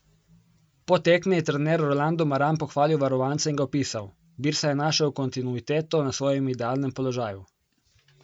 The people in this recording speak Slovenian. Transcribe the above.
Po tekmi je trener Rolando Maran pohvalil varovanca in ga opisal: 'Birsa je našel kontinuiteto na svojem idealnem položaju.